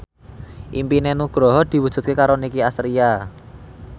impine Nugroho diwujudke karo Nicky Astria